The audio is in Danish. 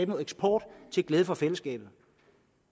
noget eksport til glæde for fællesskabet